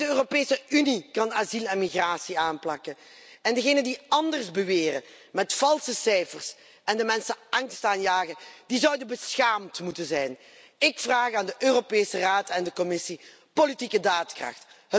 Alleen de Europese Unie kan asiel en migratie aanpakken en degene die anders beweren met valse cijfers en de mensen angst aanjagen, die zouden beschaamd moeten zijn. Ik vraag aan de Europese Raad en de Commissie politieke daadkracht.